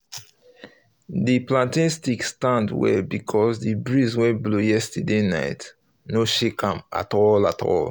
the plantain stick stand well because the breeze wey blow yesterday night um no shake am at all all